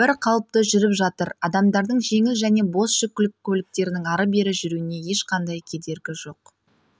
бір қалыпты жүріп жатыр адамдардың жеңіл және бос жүк көліктерінің ары-бері жүруіне ешқандай кедергі жоқ